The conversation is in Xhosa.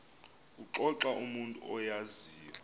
kuxoxa umntu oyaziyo